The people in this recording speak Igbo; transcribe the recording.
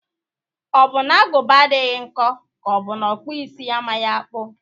Ọ bụ na agụba adaghị nkọ ka ọ bụ na ọkpụisi amaghị akpụ?